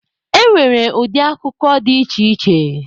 E nwere ụdị akụkọ dị iche iche.